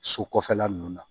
So kɔfɛla nunnu na